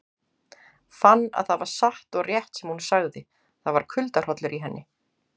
Fann að það var satt og rétt sem hún sagði, það var kuldahrollur í henni.